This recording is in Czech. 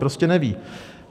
Prostě neví.